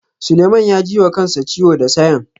Suleiman ya ji wa kansa ciwo da sayen.